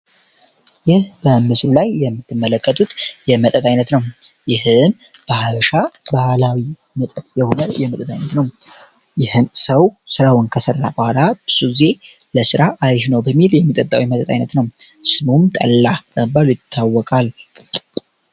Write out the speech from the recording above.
ይህ በምስሉ ላይ የምትመለከቱት የመጠይቅ ነው ይህ በሀበሻ ባህላዊ የሆነ ይህን ሰው ስራውን በኋላ የሚጠጣው ስም ጠላ ይታወቃል